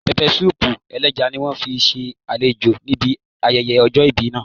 Pẹpẹsúùpù ẹlẹ́ja ni wọ́n fi ṣe àlejò níbi ayẹyẹ ọjọ́ ìbí náà